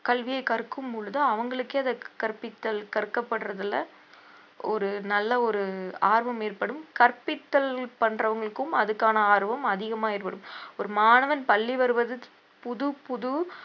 கல்வியைக் கற்கும் பொழுது அவுங்களுக்கே அத கற்பித்தல் கற்கப்படுறதுல ஒரு நல்ல ஒரு ஆர்வம் ஏற்படும் கற்பித்தல் பண்றவங்களுக்கும் அதுக்கான ஆர்வம் அதிகமா ஏற்படும் ஒரு மாணவன் பள்ளி வருவது புது புது